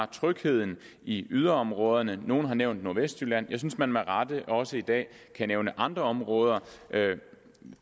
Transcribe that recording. trygheden i yderområderne nogle har nævnt nordvestjylland men jeg synes man med rette også i dag kan nævne andre områder